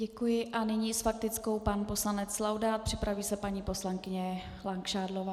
Děkuji a nyní s faktickou pan poslanec Laudát, připraví se paní poslankyně Langšádlová.